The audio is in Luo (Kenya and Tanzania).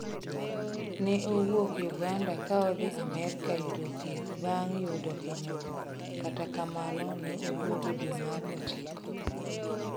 Neowuok uganda kaodhi amerka yudo thieth bang' yudo hinyruok kata kamano neoduogo dwe mar ochiko.